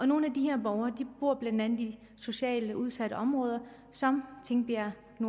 nogle af de her borgere bor blandt andet i socialt udsatte områder som tingbjerg